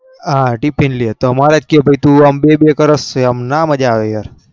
હા tiffin લે માર એમ મેર ના વ બેબે કર એમ